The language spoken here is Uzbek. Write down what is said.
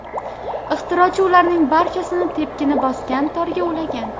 Ixtirochi ularning barchasini tepkini bosgan torga ulagan.